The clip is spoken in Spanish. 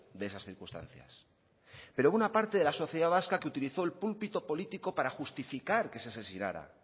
de esas circunstancias pero hubo una parte de la sociedad vasca que utilizó el púlpito político para justificar que se asesinara